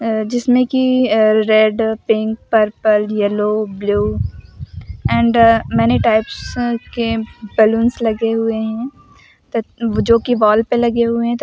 अ जिसमें कि अ red pink purple yellow blue and many types के बलूंस लगे हुए हैं त जो कि वॉल पे लगे हुए हैं। त --